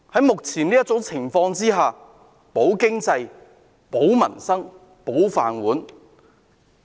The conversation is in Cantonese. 目前，我們要"保經濟、保民生、保就業"。